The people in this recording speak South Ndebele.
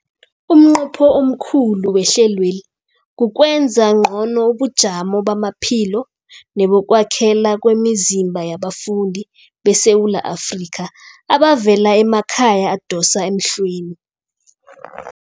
Umnqopho omkhulu wehlelweli kukwenza ngcono ubujamo bamaphilo nebokwakhela kwemizimba yabafundi beSewula Afrika abavela emakhaya adosa emhlweni.